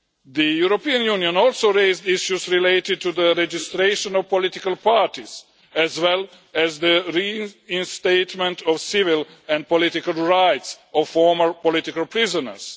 The European Union also raised issues related to the registration of political parties, as well as the reinstatement of the civil and political rights of former political prisoners.